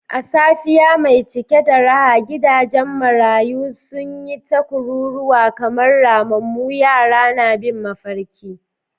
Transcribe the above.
A safiya mai cike da raha, gidajen marayu sun yi ta kururuwa kamar ramammu, yara na bin mafarki.